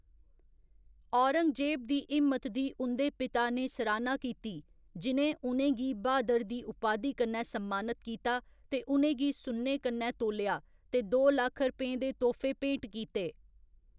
औरंगजेब दी हिम्मत दी उं'दे पिता ने सराह्‌ना कीती, जि'नें उ'नेंगी ब्हादर दी उपाधि कन्नै सम्मानत कीता ते उ'नें गी सुन्ने कन्नै तोलेआ ते दो लक्ख रपें दे तोह्‌फे भेंट कीते।